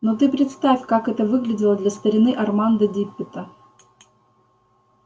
но ты представь как это выглядело для старины армандо диппета